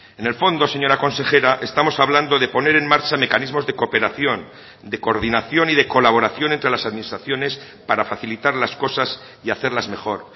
en el fondo señora consejera estamos hablando de poner en marcha mecanismos de cooperación de coordinación y de colaboración entre las administraciones para facilitar las cosas y hacerlas mejor